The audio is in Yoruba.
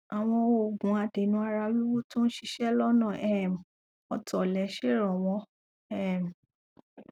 àwọn òògùn adènà ara wíwú tó ń ṣiṣẹ lọnà um ọtọlẹ ṣèrànwọ um